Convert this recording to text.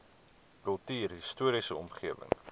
kultuurhis toriese omgewing